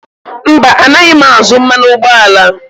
Mba, anaghị m azụ mmanụ ụgbọala.